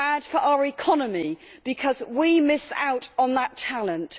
It is bad for our economy because we miss out on that talent.